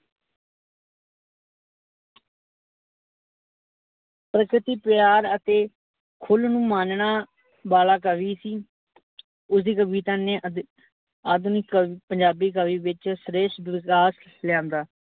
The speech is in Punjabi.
ਪ੍ਰਕਿਤੀ ਪਿਆਰ ਅਤੇ, ਖੁੱਲ ਨੂੰ ਮਾਨਣਾ ਵਾਲਾ ਕਵੀ ਸੀ। ਉਸਦੀ ਕਵਿਤਾ ਨੇ ਅੱਧ ਆਧੁਨਿਕ ਪੰਜਾਬੀ ਕਵੀ ਵਿੱਚ ਸ੍ਰੇਸ਼ਟ ਵਿਕਾਸ ਲਿਆਂਦਾ,